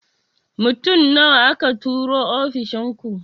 Mutum nawa aka turo ofishin ku?